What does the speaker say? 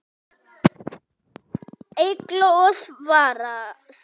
Eygló og Sævar.